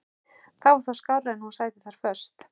Það var þó skárra en hún sæti þar föst.